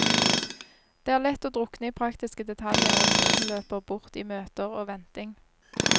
Det er lett å drukne i praktiske detaljer, og tiden løper bort i møter og venting.